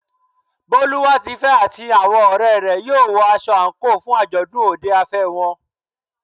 Boluwatife àti àwọn ọ̀rẹ́ rẹ̀ yóò wọ aṣọ àǹkóò fún àjọ̀dún òde afẹ́ wọn.